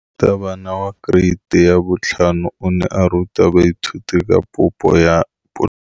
Moratabana wa kereiti ya 5 o ne a ruta baithuti ka popô ya polelô.